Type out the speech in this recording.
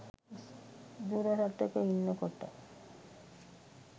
දුර රටක ඉන්නකොට